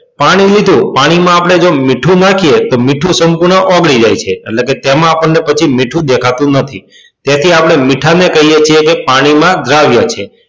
પાણી લીધું. પાણીમાં આપણે જો મીઠું નાખીએ તો મીઠું સંપૂર્ણ ઓગળી જાય છે એટલે કે તેમાં પછી આપણને મીઠું દેખાતું નથી તેથી આપણે મીઠાને કહીએ છીએ કે તે પાણીમાં દ્રાવ્ય છે.